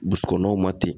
Burusi kɔnɔw ma ten